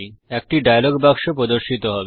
একটি ডায়লগ বাক্স প্রর্দশিত হবে